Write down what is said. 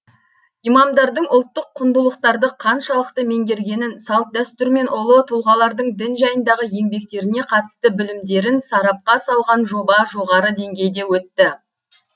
имамдардың ұлттық құндылықтарды қаншалықты меңгергенін салт дәстүр мен ұлы тұлғалардың дін жайындағы еңбектеріне қатысты білімдерін сарапқа салған жоба жоғары деңгейде өтті